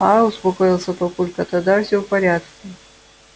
аа успокоился папулька тогда все в порядке